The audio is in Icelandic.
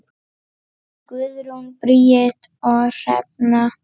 Guðrún Bríet og Hrefna.